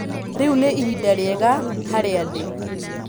Rĩu nĩ ihinda rĩega harĩa ndĩ